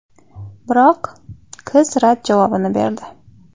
Biroq qiz rad javobini berdi.